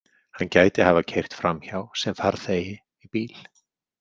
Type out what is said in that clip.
Hann gæti hafa keyrt framhjá sem farþegi í bíl?